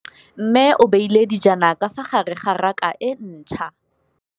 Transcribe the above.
Mmê o beile dijana ka fa gare ga raka e ntšha.